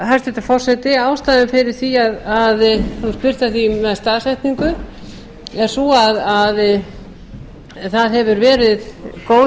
hæstvirtur forseti ástæður fyrir því að það er spurt um staðsetningu er sú að það hefur verið góð